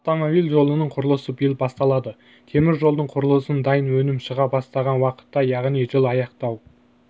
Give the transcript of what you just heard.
автомобиль жолының құрылысы биыл басталады темір жолдың құрылысын дайын өнім шыға бастаған уақытта яғни жылы аяқтау